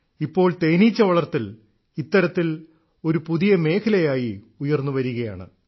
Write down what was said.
ഇപ്പോൾ തേനീച്ച വളർത്തൽ ഇത്തരത്തിൽ ഒരു പുതിയ മേഖലയായി ഉയർന്നുവരികയാണ്